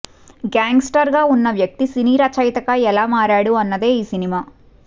గ్యాంగ్స్టర్గా ఉన్న వ్యక్తి సినీ రచయితగా ఎలా మారాడు అన్నదే ఈ సినిమా